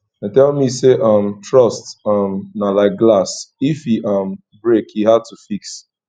dem tell me sey um trust um na like glass if e um break e hard to fix